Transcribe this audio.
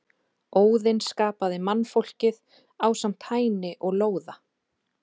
Óðinn skapaði mannfólkið ásamt Hæni og Lóða.